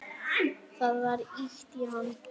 Það var ýtt á hann.